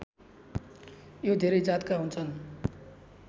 यो धेरै जातका हुन्छन्